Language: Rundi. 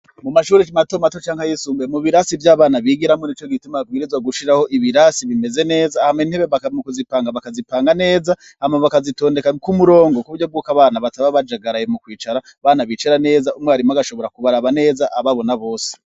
Mu mashure mato mato canke ayisumbuye nico gituma babwirizwa gushiraho ibirasi bimeze neza, hama intebe mu kuzipanga bakazipanga neza hama bakazitondeka ku murongo kuburyo bw'uko abana bataba bajagaraye mu kwicara, abana bicara neza umwarimu agashobora kubaraba neza ababona bose.